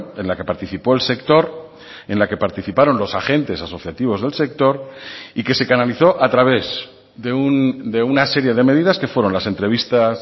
en la que participó el sector en la que participaron los agentes asociativos del sector y que se canalizó a través de una serie de medidas que fueron las entrevistas